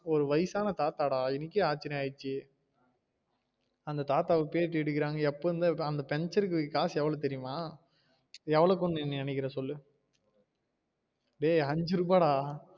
ஒரு வயசான தாத்தா டா எனக்கே ஆச்சிரியம் ஆயிடுச்சு அந்த தாத்தா ஆஹ் பேட்டி எடுக்குறாங்க எப்ப இருந்து அந்த பஞ்சர்க்கு காசு எவ்வளவு தெரியுமா எள்ளவுனு நீ நினைகிறீங்க சொல்லு டேய் அஞ்சு ரூபா டா